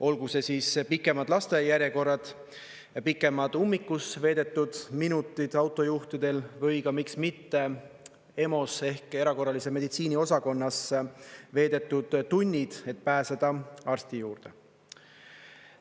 Olgu see siis pikemad lasteaiajärjekorrad, pikemad ummikus veedetud minutid autojuhtidel või miks mitte EMO-s ehk erakorralise meditsiini osakonnas veedetud tunnid, et pääseda arsti juurde.